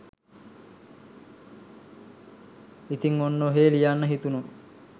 ඉතින් ඔන්න ඔහේ ලියන්න හිතුනු